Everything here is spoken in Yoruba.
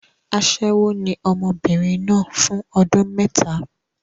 Aṣẹ́wó ni ọmọbìnrin náà fún ọdún mẹ́ta.